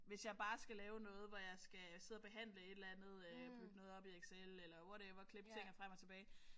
Hvis jeg bare skal lave noget hvor jeg skal sidde og behandle et eller andet bygge noget op i Excel eller whatever klippe ting og frem og tilbage